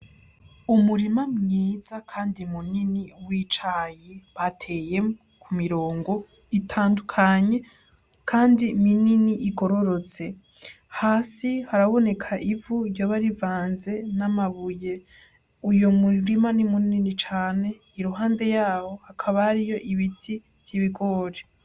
Umurima mwiza kandi munini w'icayi bateye ku mirongo itandukanye kandi minini igororotse, hasi haraboneka ivu iryoba rivanze n'amabuye uyo murima ni munini cane iruhande yaho hakaba hariyo ibiti vy'ibigori.